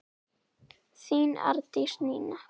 Þín Arndís Nína.